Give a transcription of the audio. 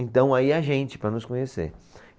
Então, aí a gente, para nos conhecer.